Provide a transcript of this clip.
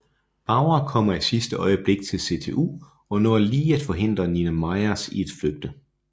Bauer kommer i sidste øjeblik til CTU og når lige at forhindre Nina Myers i at flygte